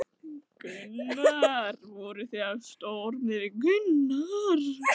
Þóra: Voru það of stór orð miðað við tilefnið?